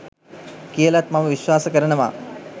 කියලත් මම විශ්වාස කරනවා